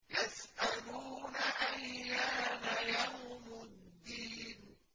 يَسْأَلُونَ أَيَّانَ يَوْمُ الدِّينِ